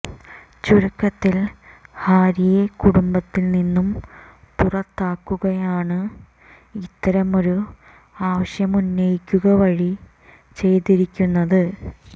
ചുരുക്കത്തിൽ ഹാരിയെ കുടുംബത്തിൽ നിന്നും പുറത്താക്കുകയാണ് ഇത്തരമൊരു ആവശ്യമുന്നയിക്കുക വഴി ചെയ്തിരിക്കുന്നത്